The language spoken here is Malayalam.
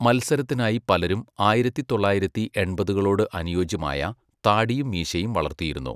മത്സരത്തിനായി പലരും ആയിരത്തിത്തൊള്ളായിരത്തി എൺപതുകളോട് അനുയോജ്യമായ, താടിയും മീശയും വളർത്തിയിരുന്നു.